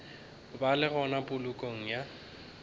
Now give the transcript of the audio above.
ba le gona polokong ya